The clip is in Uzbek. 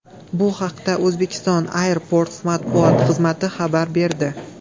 Bu haqda Uzbekistan Airports matbuot xizmati xabar berdi .